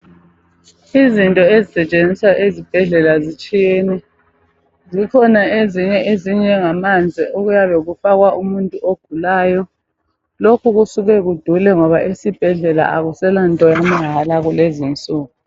Izinto ezisetshenziswa ezibhedlela zitshiyene. Zikhona ezinye ezinjengamanzi okuyabe kufakwa umuntu ogulayo. Lokhu kusuke kudule ngoba esibhedlela akuselanto yamahala kulezinsuku.